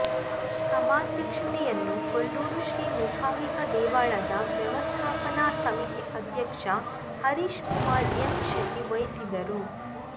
ಸಭಾಧ್ಯಕ್ಷತೆಯನ್ನು ಕೊಲ್ಲೂರು ಶ್ರೀ ಮೂಕಾಂಬಿಕಾ ದೇವಳದ ವ್ಯವಸ್ಥಾಪನ ಸಮಿತಿ ಅಧ್ಯಕ್ಷ ಹರೀಶ್ ಕುಮಾರ್ ಎಂ ಶೆಟ್ಟಿ ವಹಿಸಿದರು